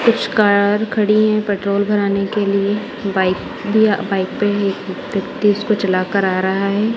कुछ कार खड़ी है पेट्रोल भराने के लिए बाइक दिया बाइक पे ही एक व्यक्ति इसको चला कर आ रहा है।